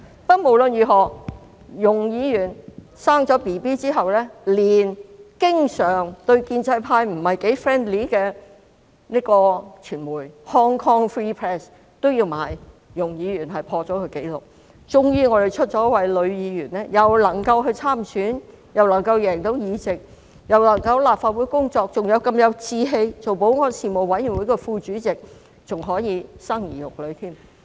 不過，無論如何，容議員產子之後，連經常對建制派不太友善的傳媒 Hong Kong Free Press 都有報道，說容議員破了紀錄，因為建制派終於有一位女議員既能夠參選，又能夠勝選在立法會工作，還如此有志氣出任保安事務委員會副主席，更可以生兒育女。